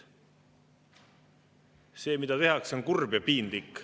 See, mida tehakse, on kurb ja piinlik.